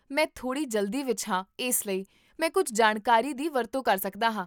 ਮੈਂ ਥੋੜ੍ਹੀ ਜਲਦੀ ਵਿੱਚ ਹਾਂ ਇਸ ਲਈ, ਮੈਂ ਕੁੱਝ ਜਾਣਕਾਰੀ ਦੀ ਵਰਤੋਂ ਕਰ ਸਕਦਾ ਹਾਂ